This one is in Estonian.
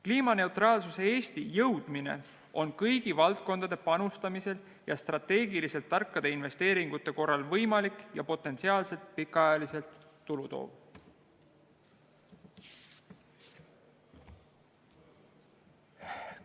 Kliimaneutraalse Eestini jõudmine on kõigi valdkondade panustamisel ja strateegiliselt tarkade investeeringute korral võimalik ja potentsiaalset pikaajaliselt tulutoov.